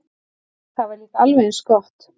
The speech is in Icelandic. Það var líka alveg eins gott.